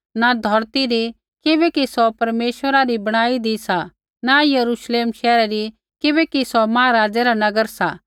न धौरती री किबैकि सौ परमेश्वरा री बणाईदी सा न यरूश्लेम शैहरा री किबैकि सौ महाराज़ै रा नगर सा